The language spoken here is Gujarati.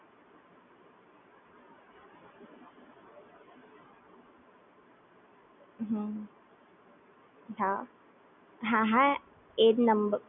એજ નંબર Use કરું છું